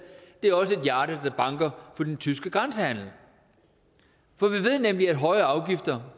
det banker for den tyske grænsehandel for vi ved nemlig at en høj afgift